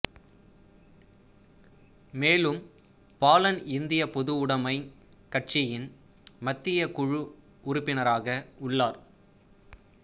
மேலும் பாலன் இந்திய பொதுவுடைமைக் கட்சியின் மத்திய குழு உறுப்பினராக உள்ளார்